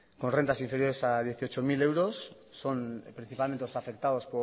con rentas inferiores a dieciocho mil euros son principalmente los afectados